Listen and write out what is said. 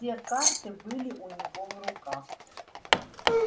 все карты были у него в руках